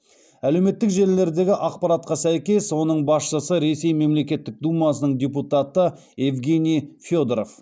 әлеуметтік желілердегі ақпаратқа сәйкес оның басшысы ресей мемлекеттік думасының депутаты евгений федоров